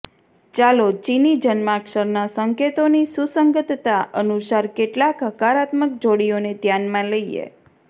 ચાલો ચિની જન્માક્ષરના સંકેતોની સુસંગતતા અનુસાર કેટલાક હકારાત્મક જોડીઓને ધ્યાનમાં લઈએ